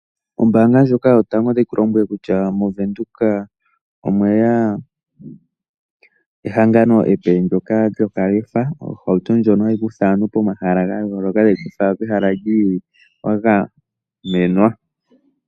Ombaanga ndjoka yotango otayi ku lombwele kutya mOvenduka omwe ya ehangano epe ndyoka lyokalefa, ohauto ndjoka hayi kutha aantu pomahala ga yooloka tayi ya fala pehala li ili wa gamenwa.